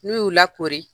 N'u y'u lakori